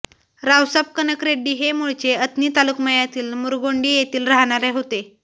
रावसाब कनकरेड्डी हे मूळचे अथणी तालुक्मयातील मुरगोंडी येथील राहणारे होते